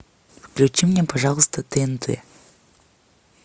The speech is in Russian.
включи мне пожалуйста тнт